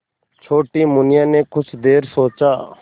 छोटी मुनिया ने कुछ देर सोचा